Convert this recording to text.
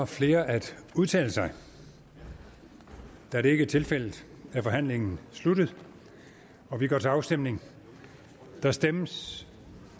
flere at udtale sig da det ikke er tilfældet er forhandlingen sluttet og vi går til afstemning der stemmes